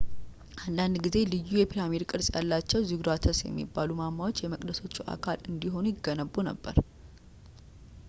አንዳንድ ጊዜ ልዩ የፒራሚድ ቅርፅ ያላቸው ዚጉራትስ የሚባሉ ማማዎች የመቅደሶቹ አካል እንዲሆኑ ይገነቡ ነበር